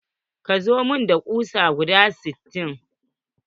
Ka zo mun da kusa guda sittin.